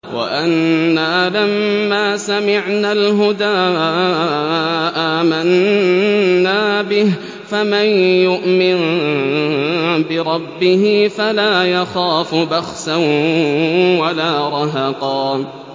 وَأَنَّا لَمَّا سَمِعْنَا الْهُدَىٰ آمَنَّا بِهِ ۖ فَمَن يُؤْمِن بِرَبِّهِ فَلَا يَخَافُ بَخْسًا وَلَا رَهَقًا